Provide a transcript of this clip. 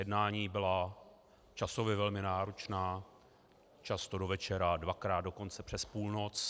Jednání byla časově velmi náročná, často do večera, dvakrát dokonce přes půlnoc.